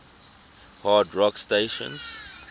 hard rock stations